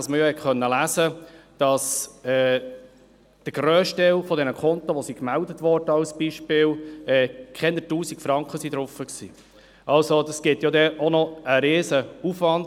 Man konnte lesen, dass auf dem grössten Teil der Konten, die gemeldet wurden, weniger als 1000 Franken drauf waren.